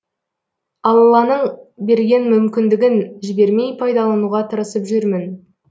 алланың берген мүмкіндігін жібермей пайдалануға тырысып жүрмін